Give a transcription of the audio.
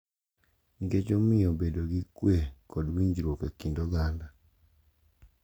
Nikech omiyo obedo gi kwe kod winjruok e kind oganda.